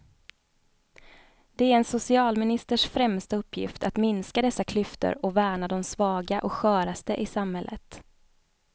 Det är en socialministers främsta uppgift att minska dessa klyftor och värna de svaga och sköraste i samhället.